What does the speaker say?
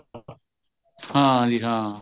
ਹਾਂਜੀ ਹਾਂ